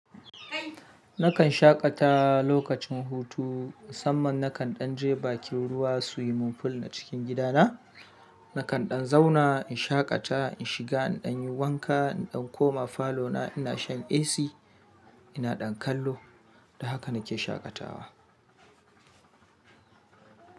Nakan shaƙata lokacin hutu. Musamman nakan ɗan je bakin ruwa swimming pool na cikin gidana. Nakan ɗan zauna in shaƙata, in shiga, na ɗan yi wanka, in ɗan koma falo na ina shan AC ina ɗan kallo. Da haka nike shaƙatawa.